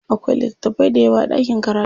Akwai littatafai dayawa a ɗakin karatu.